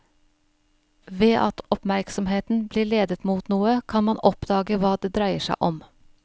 Ved at oppmerksomheten blir ledet mot noe, kan man oppdage hva det dreier seg om.